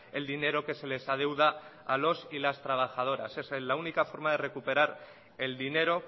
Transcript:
el dinero que se les adeuda a los y las trabajadoras esa es la única forma de recuperar el dinero